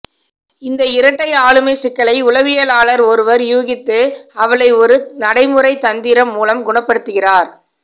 இந்த இரட்டை ஆளுமைச் சிக்கலை உளவியலாளர் ஒருவர் ஊகித்து அவளை ஒரு நடைமுறைத் தந்திரம் மூலம் குணப்படுத்துகிறார்